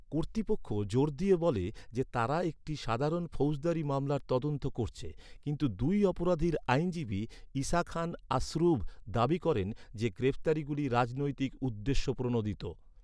কর্তৃপক্ষ জোর দিয়ে বলে যে, তারা একটি সাধারণ ফৌজদারি মামলার তদন্ত করছে। কিন্তু দুই 'অপরাধীর' আইনজীবী ইসাখান আসুরভ দাবি করেন যে, গ্রেফতারিগুলি রাজনৈতিক উদ্দেশ্যপ্রণোদিত।